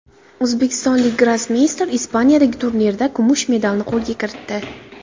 O‘zbekistonlik grossmeyster Ispaniyadagi turnirda kumush medalni qo‘lga kiritdi.